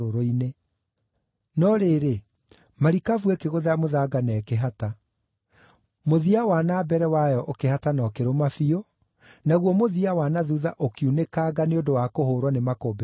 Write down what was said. No rĩrĩ, marikabu ĩkĩgũtha mũthanga na ĩkĩhata. Mũthia wa na mbere wayo ũkĩhata na ũkĩrũma biũ, naguo mũthia wa na thuutha ũkiunĩkanga nĩ ũndũ wa kũhũũrwo nĩ makũmbĩ ma maaĩ.